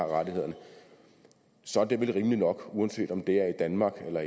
rettigheder så er det vel rimeligt nok uanset om det er i danmark